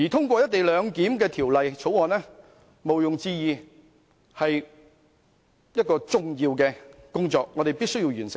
毋庸置疑，通過《條例草案》是重要的工作，我們務必完成。